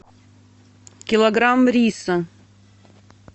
килограмм риса